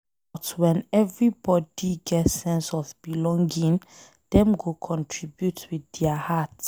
But wen everybody get sense of belonging, Dem go contribute with dia heart.